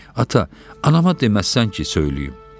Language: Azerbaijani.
Ata, anama deməzsən ki, söyləyim.